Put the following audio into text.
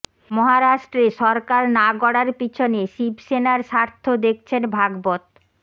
মহারাষ্ট্রে সরকার না গড়ার পিছনে শিবসেনার স্বার্থ দেখছেন ভাগবত